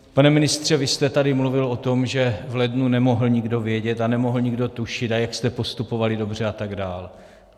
Pane ministře, vy jste tady mluvil o tom, že v lednu nemohl nikdo vědět a nemohl nikdo tušit a jak jste postupovali dobře a tak dále.